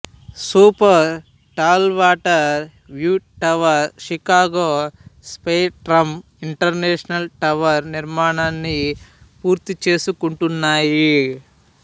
super tall water view tower Chicago Spire Trump International Tower నిర్మాణాన్ని పూర్తి చేసుకుంటున్నాయి